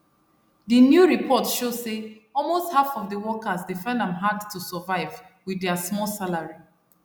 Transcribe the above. d new report show say almost half of workers dey find am hard to survive with dia small salary